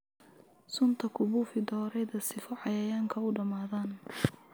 Sunta kubufix doreydha sifa cayayanka uu damadhan.